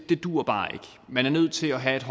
duer bare ikke man er nødt til at have et